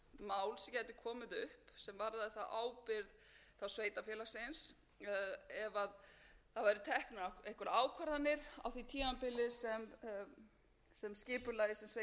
á og menn voru að velta fyrir sér varðandi hugsanleg mál sem gætu komið upp sem varðaði ábyrgð sveitarfélagsins ef það væru teknar einhverjar ákvarðanir á því tímabili sem skipulagið sem sveitarfélagið hefði látið